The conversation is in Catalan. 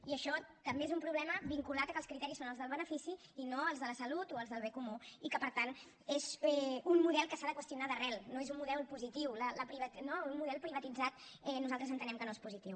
i això també és un problema vinculat a que els criteris són els del benefici i no els de la salut o els del bé comú i que per tant és un model que s’ha de qüestionar d’arrel no és un model positiu no un model privatitzat nosaltres entenem que no és positiu